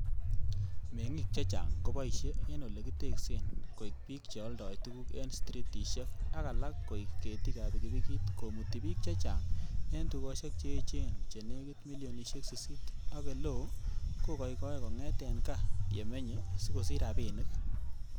Meng'ik chechang koboishie en ele kiteksen, koik bik che oldoi tuguk en stritishek ak alak koik ketik ab pikipikit komuti bik che chang en tugosiek che echen chenekit milionisiek sisit, ak eleo ko koikoe kong'et en gaa yemenye sikosich rabinik.